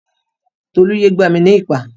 Tolú yé gbá mi ní ìpá.